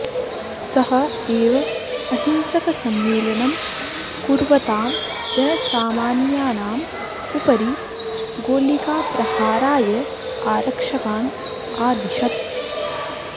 सः एव अहिंसकसम्मेलनं कुर्वतां जनसामान्यानाम् उपरि गोलिकाप्रहाराय आरक्षकान् आदिशत्